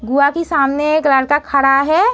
गुआ के सामने एक लड़का खड़ा हैं।